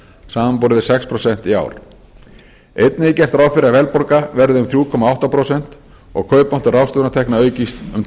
við sex prósent í ár einnig er gert ráð fyrir að verðbólga verði um þrjú komma átta prósent og kaupmáttur ráðstöfunartekna aukist um